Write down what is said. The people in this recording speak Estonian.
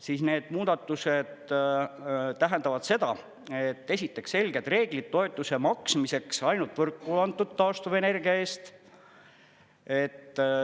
Siis need muudatused tähendavad seda, et esiteks selged reeglid toetuse maksmiseks ainult võrku antud taastuvenergia eest.